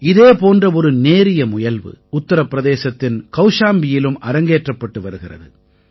இதே போன்ற ஒரு நேரிய முயல்வு உத்திரப்பிரதேசத்தின் கௌஷாம்பியிலும் அரங்கேற்றப்பட்டு வருகிறது